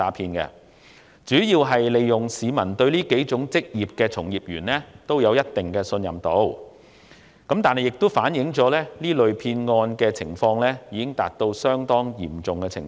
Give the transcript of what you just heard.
騙徒主要是利用市民對上述數種職業從業員的信任，但現實情況亦反映這類騙案已達到相當嚴重的程度。